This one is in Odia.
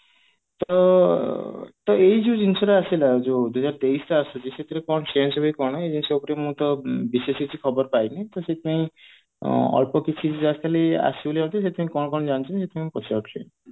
ତ ତ ଏଇ ଯୋଉ ଜିନିଷ ଟା ଆସିଲା ଯୋଉ ଦୁଇହଜାର ତେଇଶି ରେ ଆସୁଛି ସେଥିରେ କଣ change ହବ କି କଣ ଏଇ ଜିନିଷ ଉପରେ କିଛି ଖବର ପାଇନି ଟା ସେଥି ପାଇଁ ଆଁ ତ ଅଳ୍ପ କିଛି ସେଥି ପାଇଁ କଣ କଣ ଜାଣିଛନ୍ତି ସେଥିପାଇଁ ପଚାରୁଛି